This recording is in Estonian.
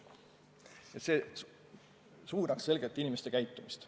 See süsteem suunab selgelt inimeste käitumist.